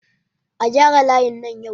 A gyara layin nan yau!